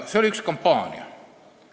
See oli kampaania.